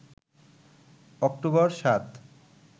October ৭